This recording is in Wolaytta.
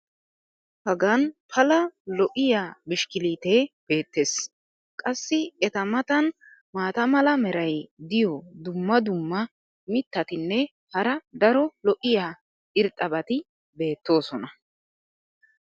hagan Pala lo'iya bishkkiliitee beetees. qassi eta matan maata mala meray diyo dumma dumma mitatinne hara daro lo'iya irxxabati beetoosona.